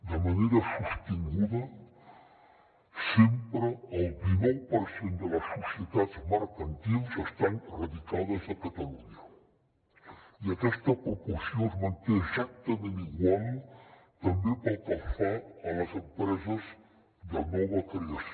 de manera sostinguda sempre el dinou per cent de les societats mercantils estan radicades a catalunya i aquesta proporció es manté exactament igual també pel que fa a les empreses de nova creació